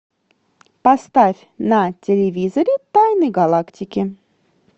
поставь на телевизоре тайны галактики